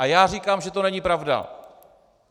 A já říkám, že to není pravda!